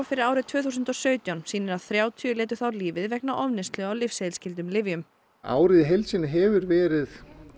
fyrir árið tvö þúsund og sautján sýnir að þrjátíu manns létu þá lífið vegna ofneyslu á lyfseðilsskyldum lyfjum árið í heild sinni hefur verið